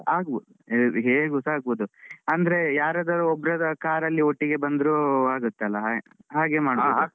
ಆಗ್ಬಹುದು ಹೇಗುಸಾ ಆಗ್ಬಹುದು ಅಂದ್ರೆ ಯಾರದಾದ್ರೂ ಒಬ್ಬರದ್ದು car ಅಲ್ಲಿ ಒಟ್ಟಿಗೆ ಬಂದ್ರು ಆಗತ್ತಲ್ಲ ಹಾಗೆ ಮಾಡಬಹುದು.